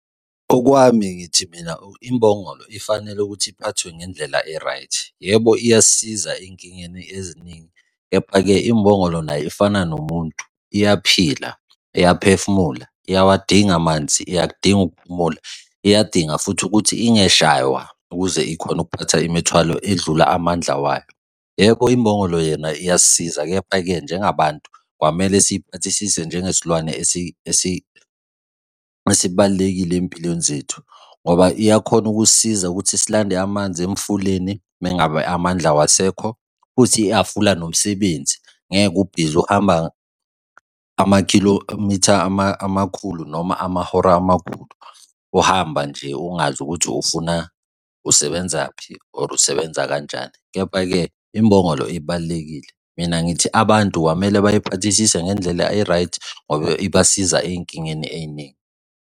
Okwami ngithi mina imbongolo ifanele ukuthi iphathwe ngendlela e-ight. Yebo, iyasiza ey'nkingeni eziningi, kepha-ke imbongolo nayo efana nomuntu iyaphila, iyaphefumula, iyawadinga amanzi, iyakudinga ukuphumula, iyadinga futhi ukuthi ingeshaywa ukuze ikhone ukuphatha imithwalo edlula amandla wayo. Yebo imbongolo yona iyasisiza, kepha-ke njengabantu, kwamele siympathisise njengesilwane esibalulekile ey'mpilweni zethu ngoba iyakhona ukusisiza ukuthi silande amanzi emfuleni uma ngabe amandla awasekho futhi ihhafula nomsebenzi. Ngeke ubhizi uhamba, ama-kilometre, amakhulu noma amahora amakhulu uhamba nje ungazi ukuthi ufuna, usebenzaphi? Or usebenza kanjani? Kepha-ke imbongolo ibalulekile. Mina ngithi abantu kwamele bayiphathisise ngendlela e-right ngoba ibasiza ey'nkingeni ey'ningi.